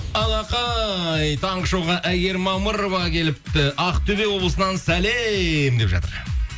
алақай таңғы шоуға әйгерім мамырова келіпті ақтөбе облысынан сәлем деп жатыр